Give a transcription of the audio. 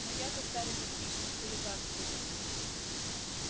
но я-то старый подписчик хулиган сука